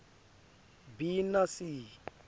b na c